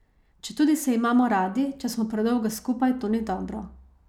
Četudi se imamo radi, če smo predolgo skupaj, to ni dobro.